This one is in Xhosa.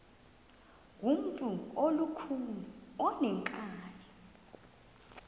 ngumntu olukhuni oneenkani